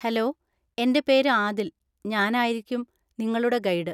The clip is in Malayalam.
ഹെലോ, എൻ്റെ പേര് ആദിൽ. ഞാൻ ആയിരിക്കും നിങ്ങളുടെ ഗൈഡ്.